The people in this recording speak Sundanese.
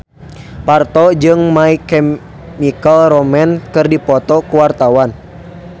Parto jeung My Chemical Romance keur dipoto ku wartawan